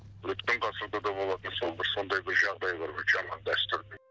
өткен ғасырда да болатын сол бір сондай бір жағдайлар жаман дәстүр